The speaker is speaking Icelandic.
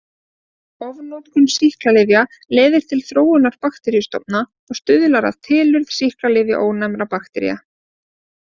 Ofnotkun sýklalyfja leiðir til þróunar bakteríustofna og stuðlar að tilurð sýklalyfjaónæmra baktería.